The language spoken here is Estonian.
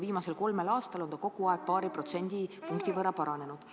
Viimasel kolmel aastal on see kogu aeg paari protsendi võrra vähenenud.